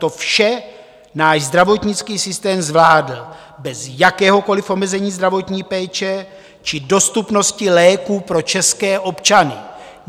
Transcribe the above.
To vše náš zdravotnický systém zvládl bez jakéhokoliv omezení zdravotní péče či dostupnosti léků pro české občany.